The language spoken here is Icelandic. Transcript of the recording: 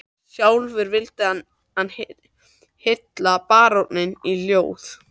Sjálfur vildi hann hylla baróninn í ljóði